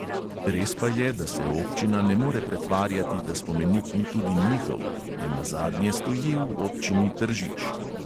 Res pa je, da se občina ne more pretvarjati, da spomenik ni tudi njihov, ne nazadnje stoji v občini tržič.